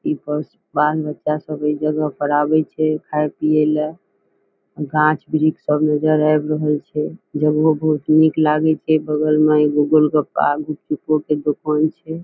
ई बस बाल-बच्चा सब ए जगह पर आवे छै खाय पिये ले गाछ वृक्ष सब नजर आब रहल छै जगहों बहुत नीक लागे छै बगल में एगो गोलगप्पा-गुपचुपो के दुकान छै ।